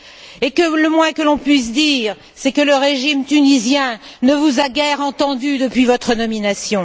Et le moins que l'on puisse dire, c'est que le régime tunisien ne vous a guère entendu depuis votre nomination.